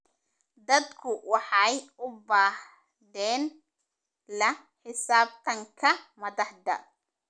Dadku waxay u baahdeen la xisaabtanka madaxda.